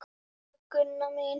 Elsku Gunna mín.